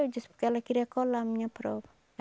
Eu disse porque ela queria colar a minha prova.